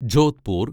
Jodhpur